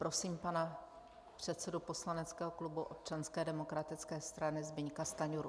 Prosím pana předsedu poslaneckého klubu Občanské demokratické strany Zbyňka Stajnuru.